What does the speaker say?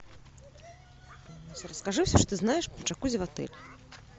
расскажи все что знаешь про джакузи в отеле